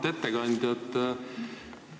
Auväärt ettekandja!